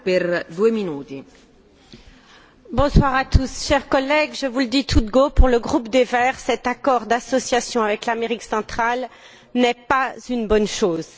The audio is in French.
Madame la Présidente, chers collègues, je vous le dis tout de go, pour le groupe des Verts, cet accord d'association avec l'Amérique centrale n'est pas une bonne chose.